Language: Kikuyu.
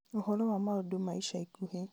ũhoro wa maũndũ ma ica ikuhĩ